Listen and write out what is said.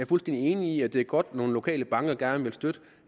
fuldstændig enig i at det er godt at nogle lokale banker gerne vil støtte